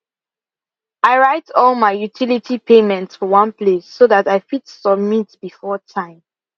i write all my utility payments for one place so that i fit submit before time